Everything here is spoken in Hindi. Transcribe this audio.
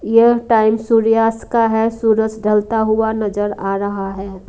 यह टाइम सूर्यास्त का है सूरज ढलता हुआ नजर आ रहा है।